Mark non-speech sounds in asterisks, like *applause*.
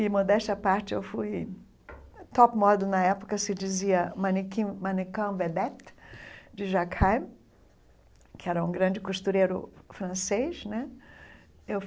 E modéstia à parte, eu fui top model na época, se dizia mannequin *unintelligible* vedette de Jacques Chaim, que era um grande costureiro francês né.